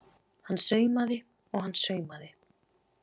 Hann saumaði og hann saumaði.